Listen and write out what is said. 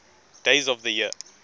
days of the year